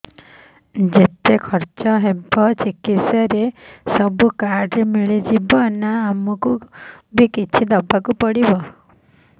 ଯେତେ ଖର୍ଚ ହେବ ଚିକିତ୍ସା ରେ ସବୁ କାର୍ଡ ରେ ମିଳିଯିବ ନା ଆମକୁ ବି କିଛି ଦବାକୁ ପଡିବ